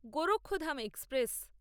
Gorakhdham express